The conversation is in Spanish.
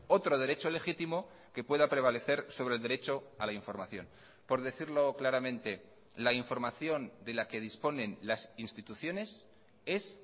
otro derecho legítimo que pueda prevalecer sobre el derecho a la información por decirlo claramente la información de la que disponen las instituciones es